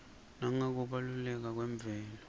nangekubaluleka kwemvelo